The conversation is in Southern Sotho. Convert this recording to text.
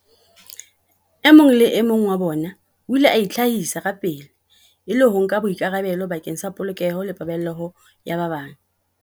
E mong le e mong wa bona o ile a itlhahisa kapele, e le ho nka boikarabelo bakeng sa polokeho le paballeho ya ba bang.